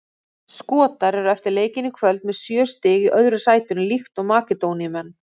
Skotar eru eftir leikinn í kvöld með sjö stig í öðru sætinu líkt og Makedóníumenn.